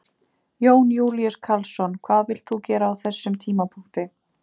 Jón Júlíus Karlsson: Hvað vilt þú gera á þessum tímapunkti?